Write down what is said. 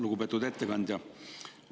Lugupeetud ettekandja!